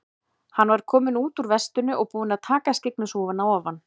Hann var kominn úr vestinu og búinn að taka skyggnishúfuna ofan.